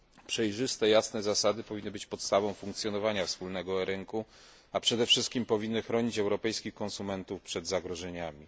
Przejrzyste i jasne zasady powinny być podstawą funkcjonowania wspólnego rynku, a przede wszystkim powinny chronić europejskich konsumentów przed zagrożeniami.